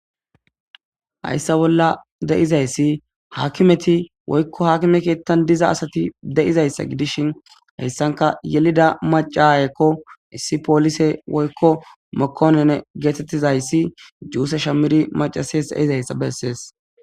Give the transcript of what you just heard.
hayssa bolla deizayssi haakimeti woykko hakime kiettan diza asati de7izayssa gidishin heyssanka yelida macayekko issi poolise woykko mokonene geetettizayssi juuse shamiri macases eizayssa bessees